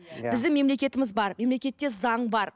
иә біздің мемлекетіміз бар мемлекетте заң бар